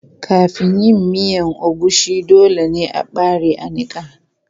Kafin yin miya agushi, dole ne a ɓare a niƙa.